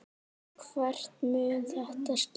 Hvert mun þetta skila mér?